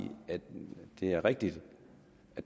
at det er rigtigt